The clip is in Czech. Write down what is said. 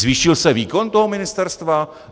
Zvýšil se výkon toho ministerstva?